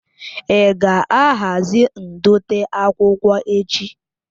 Ị ga-ahazi ndote akwụkwọ echi?